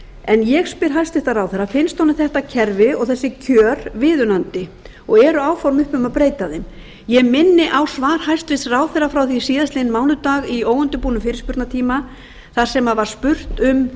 en ég spyr hæstvirtur ráðherra finnst honum þetta kerfi og þessi kjör viðunandi og eru áform uppi um að breyta þeim ég minni á svar hæstvirtur ráðherra frá því síðastliðinn mánudag í óundirbúnum fyrirspurnatíma þar sem var spurt um